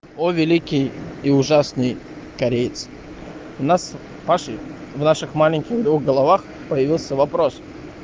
о великий и ужасный кореец у нас в наших маленьких головах появился вопрос